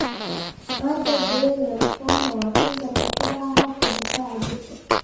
Aagga Grey lymphoma waa kansar ku dhaca habka difaaca jirka.